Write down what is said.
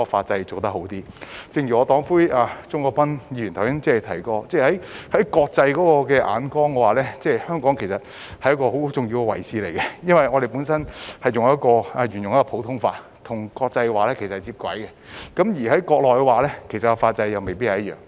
正如我的黨魁鍾國斌議員剛才提過，香港在國際眼中擔當很重要的位置，因為我們沿用普通法，與國際接軌，但國內的法則未必一樣。